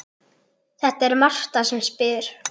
Það er Marta sem spyr.